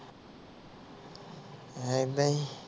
ਹਮ ਐਦਾਂ ਹੀ